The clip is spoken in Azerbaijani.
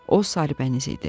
O sarıbəniz idi.